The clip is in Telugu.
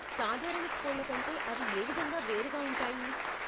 సాధారణ స్కూళ్ళ కంటే అవి ఏ విధంగా వేరుగా ఉంటాయి?